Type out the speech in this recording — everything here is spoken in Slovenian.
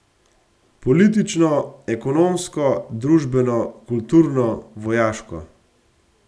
Politično, ekonomsko, družbeno, kulturno, vojaško.